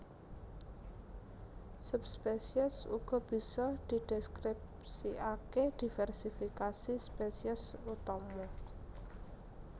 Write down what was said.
Subspesies uga bisa dideskripsiaké diversifikasi spesies utama